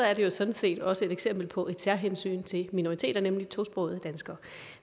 er det jo sådan set også et eksempel på et særhensyn til minoriteter nemlig tosprogede danskere